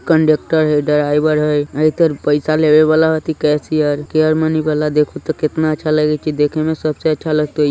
conductor है driver है आइतर पैसे लेवे वाला ऐथि केशियर केयरमनी वाला देखेत कितना अच्छा लगत ई देखेमें सबसे अच्छा लगते ई |